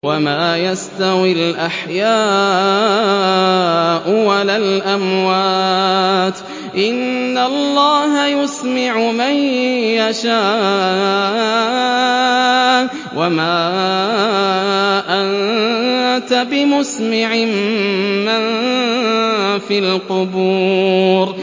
وَمَا يَسْتَوِي الْأَحْيَاءُ وَلَا الْأَمْوَاتُ ۚ إِنَّ اللَّهَ يُسْمِعُ مَن يَشَاءُ ۖ وَمَا أَنتَ بِمُسْمِعٍ مَّن فِي الْقُبُورِ